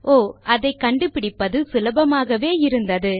ஓ அதை கண்டுபிடிப்பது சுலபமாகவே இருந்தது